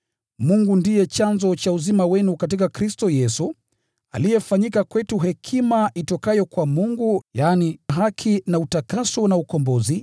Bali kwa yeye ninyi mmepata kuwa katika Kristo Yesu, aliyefanyika kwetu hekima itokayo kwa Mungu, yaani haki, na utakatifu na ukombozi.